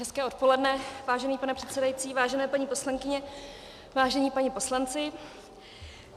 Hezké odpoledne, vážený pane předsedající, vážené paní poslankyně, vážení páni poslanci.